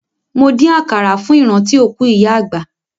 Mo dín àkàrà fún ìrántí òkú ìyá àgbà.